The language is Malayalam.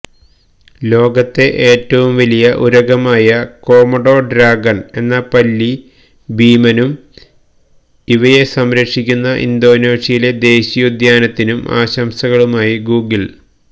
ലോകത്തെ ഏറ്റവും വലിയ ഉരഗമായ കോമൊഡോ ഡ്രാഗണ് എന്ന പല്ലി ഭീമനും ഇവയെ സംരക്ഷിക്കുന്ന ഇന്തോനേഷ്യയിലെ ദേശീയോദ്യാനത്തിനും ആശംസയുമായി ഗൂഗിള്